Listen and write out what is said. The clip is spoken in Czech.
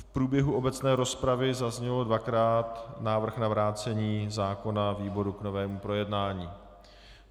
V průběhu obecné rozpravy zazněl dvakrát návrh na vrácení zákona výboru k novému projednání.